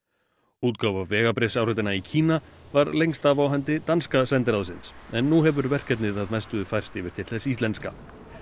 útgáfa vegabréfsáritana í Kína var lengst af á hendi danska sendiráðsins en nú hefur verkefnið að mestu færst yfir til þess íslenska